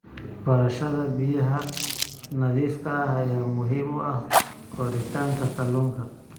Barashada biyaha nadiifka ah ayaa muhiim u ah koritaanka kalluunka.